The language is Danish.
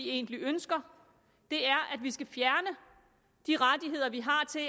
egentlig ønsker er at vi skal fjerne de rettigheder vi har til